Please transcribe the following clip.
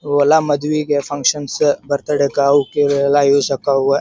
ಇವೆಲ್ಲಾ ಮದ್ವೆಗೆ ಫಕ್ಷನ್ಸ್ ಬರ್ತ್ಡೇಕ ಅವುಕ ಇವೆಲ್ಲಾ ಯೂಸ್ ಆಕವು ಅ .